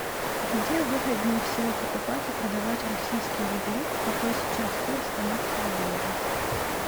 где выгоднее всего покупать и продавать российские рубли какой сейчас курс канадского доллара